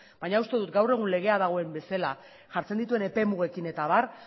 baina uste dut gaur egun legea dagoen bezala jartzen dituen epe mugekin eta abar